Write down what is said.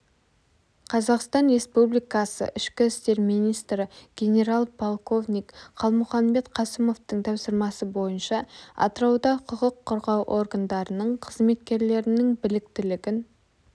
қазақстан республикасы ішкі істер министрі генерал-полковник қалмұханбет қасымовтың тапсырмасы бойынша атырауда құқық қорғау органдарының қызметкерлерінің біліктілігін